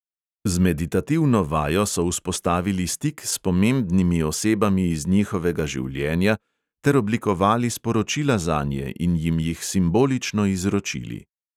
Z meditativno vajo so vzpostavili stik s pomembnimi osebami iz njihovega življenja ter oblikovali sporočila zanje in jim jih simbolično izročili.